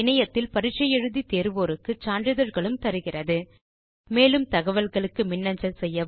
இணையத்தில் பரிட்சை தேர்வோருக்கு சான்றிதழ்களும் தருகிறது மேலும் தகவல்களுக்கு மின்னஞ்சல் செய்யவும்